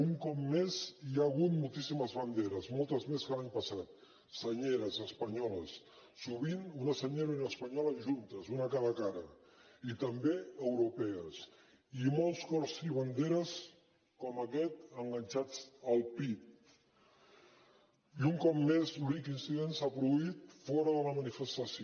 un cop més hi ha hagut moltíssimes banderes moltes més que l’any passat senyeres espanyoles sovint una senyera i una espanyola juntes una a cada cara i també europees i molts cors i banderes com aquest enganxats al pit i un cop més l’únic incident s’ha produït fora de la manifestació